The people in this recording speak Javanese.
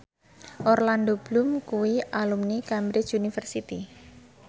Orlando Bloom kuwi alumni Cambridge University